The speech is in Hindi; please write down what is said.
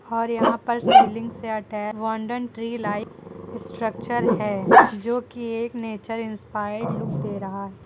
और यहां पर सीलिंग सेट है वंडन ट्री लाइट स्ट्रक्चर है जो की एक नेचर इंस्पायर्ड लुक दे रहा।